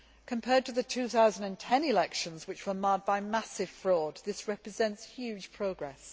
Compared to the 2010 elections, which were marred by massive fraud, this represents huge progress.